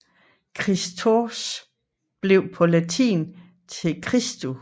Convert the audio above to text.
Khristos blev på latin til Christus